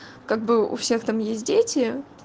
как бы у всех там есть дети